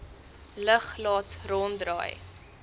lug laat ronddraai